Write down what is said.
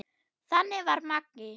Þannig var Maggi.